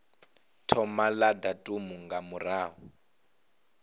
thoma la datumu nga murahu